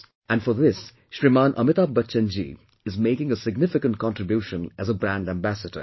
And for this, Shrimaan Amitabh Bachchan Ji is making a significant contribution as a brand ambassador